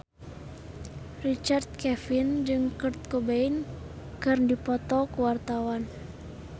Richard Kevin jeung Kurt Cobain keur dipoto ku wartawan